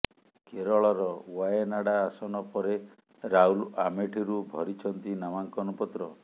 କେରଳର ୱାଏନାଡା ଆସନ ପରେ ରାହୁଲ ଆମେଠିରୁ ଭରିଛନ୍ତି ନାମାଙ୍କନ ପତ୍ର